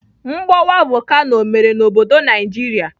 Mgbọwa vokano ọ mere n'obodo Naijiria?